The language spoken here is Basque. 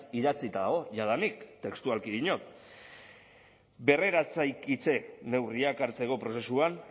idatzita dago jadanik testualki diot berreraikitze neurriak hartzeko prozesuan